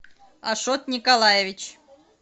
ашот николаевич